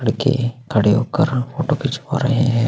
लड़के खड़े होकर फोटो खिचवा रहे है।